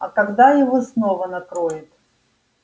а когда его снова накроет